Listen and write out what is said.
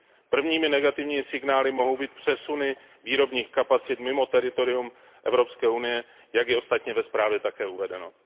Prvními negativními signály mohou být přesuny výrobních kapacit mimo teritorium Evropské unie, jak je ostatně ve zprávě také uvedeno.